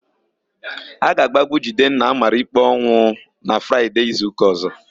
A ga-agbagbu Jidenna a mara ikpe ọnwụ na Fraịde izuụka ọ̀zó.